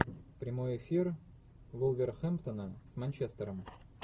прямой эфир вулверхэмптона с манчестером